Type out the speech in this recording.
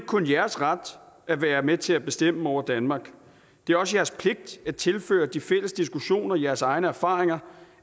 kun jeres ret at være med til at bestemme over danmark det er også jeres pligt at tilføre de fælles diskussioner jeres egne erfaringer